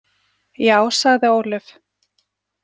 Já, sagði Ólöf.